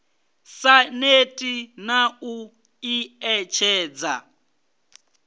sa neti na u ḓiṋetshedza